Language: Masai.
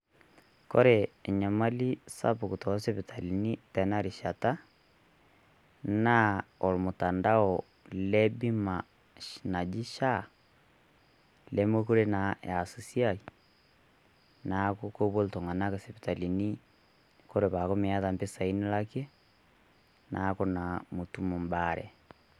Kore enyamali sapuk too sipitalini tena rishata naa olmutandao le bimaa naji SHA. Lemekore naa eas esiai naaku kepoo iltung'anak sipitali kore paaku mieta mpisai nilaake naaku naa mietum bayare.